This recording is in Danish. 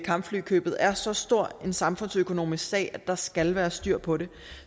kampflykøbet er så stor en samfundsøkonomisk sag at der skal være styr på det